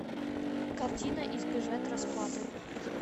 картина избежать расплаты